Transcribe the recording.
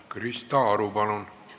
Krista Aru, palun!